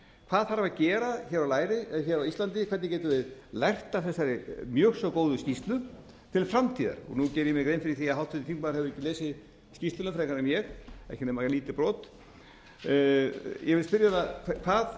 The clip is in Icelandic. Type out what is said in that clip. hvað þarf að gera á íslandi hvernig getum við lært af þessari mjög svo góðu skýrslu til framtíðar nú geri ég mér grein fyrir því að háttvirtur þingmaður hefur ekki lesið skýrsluna frekar en ég ekki nema lítið brot ég vil spyrja hana hvað